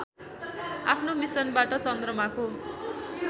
आफ्नो मिसनबाट चन्द्रमाको